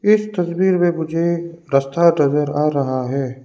इस तस्वीर में मुझे रस्ता नजर आ रहा है।